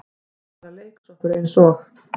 Er bara leiksoppur eins og